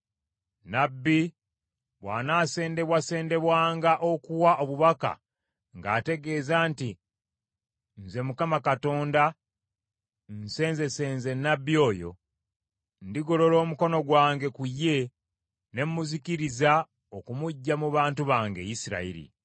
“ ‘Nnabbi bw’anaasendebwasendebwanga okuwa obubaka ng’ategeeza nti nze Mukama Katonda nsenzesenze nnabbi oyo, ndigolola omukono gwange ku ye ne muzikiriza okumuggya mu bantu bange Isirayiri.